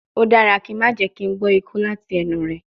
O dara ki n ma jẹ ki n gbọ iku lati ẹnu rẹ